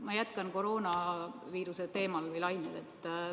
Ma jätkan koroonaviiruse teemal või lainel.